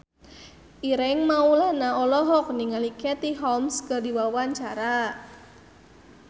Ireng Maulana olohok ningali Katie Holmes keur diwawancara